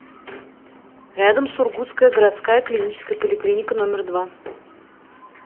рядом сургутская городская клиническая поликлиника номер два